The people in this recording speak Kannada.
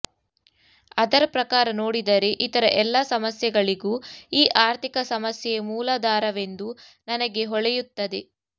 ಅದರ ಪ್ರಕಾರ ನೋಡಿದರೆ ಇತರ ಎಲ್ಲಾ ಸಮಸ್ಯೆಗಳಿಗೂ ಈ ಆರ್ಥಿಕ ಸಮಸ್ಯೆಯೇ ಮೂಲಧಾರವೆಂದು ನನಗೆ ಹೊಳೆಯುತ್ತದೆ